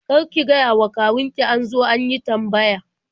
Kar ki gayawa kawun ki an zo an yi tambaya.